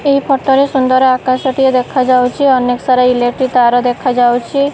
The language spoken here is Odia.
ଏହି ଫଟ ରେ ସୁନ୍ଦର ଆକାଶଟିଏ ଦେଖାଯାଉଚି ଅନେକ ସାରା ଇଲେକ୍ଟ୍ରି ତାର ଦେଖାଯାଉଚି।